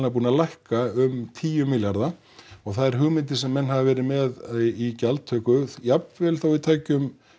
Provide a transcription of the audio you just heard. búin að lækka um tíu milljarða og þær hugmyndir sem menn hafa verið með í gjaldtöku jafnvel þó við tækjum